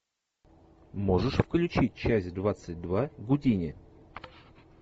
можешь включить часть двадцать два гудини